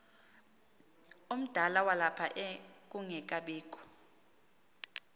omdala walapha kungekabikho